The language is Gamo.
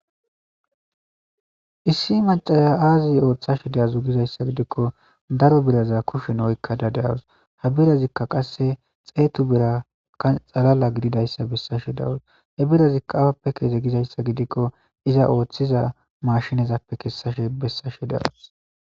Issi macaya azi oththhashe de7azu gizaysa gidikko darro birraza kushen oyqada de7awus.ha birrazikka qase xetu birra xalala gididaysa besashe de7awus.he birrazika awappe ke7ize gizaysa gidikko izza oththiza mashshinezappe kesashe besashe de7awus.